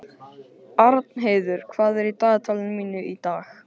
Arnheiður, hvað er í dagatalinu mínu í dag?